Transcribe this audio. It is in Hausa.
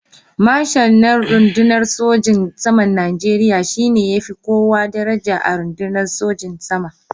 Marshal na rundunar sojin saman Najeriya shi ne ya fi kowa daraja a rundunar sojin sama.